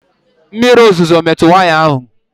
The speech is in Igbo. Mmiri ozuzo emetụ waya ahụ?